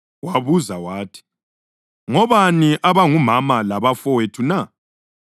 Wabuza wathi, “Ngobani abangumama labafowethu na?”